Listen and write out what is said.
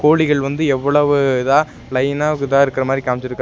கோழிகள் வந்து எவ்வளவு இதா லைன்னா இதா இருக்குற மாரி காமிச்சிருக்குறா--